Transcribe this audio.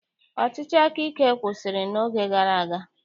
Ọchịchị akaike kwụsịrị n'oge gara aga